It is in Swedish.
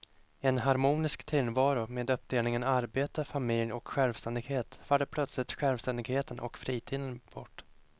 I en harmonisk tillvaro med uppdelningen arbete, familj och självständighet faller plötsligt självständigheten och fritiden bort.